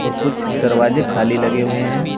और कुछ दरवाजे खाली लगे हुए हैं।